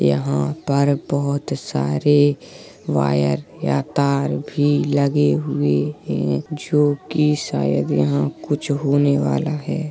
यहाँ पर बहोत सारे वायर या तार भी लगे हुए हैं जोकि शायद यहाँ कुछ होने वाला है।